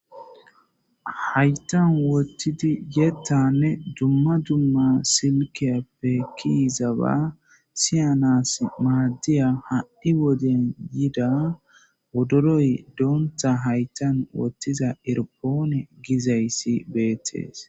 Hayththan wothidi yettanne dumma dumma silkiyappe kiyizaba siyanasi maadiya ha7i woden yida wodoroy donththa hayththan wotiza iripone gizayssi beetees.